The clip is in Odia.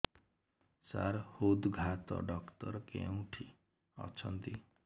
ସାର ହୃଦଘାତ ଡକ୍ଟର କେଉଁଠି ଅଛନ୍ତି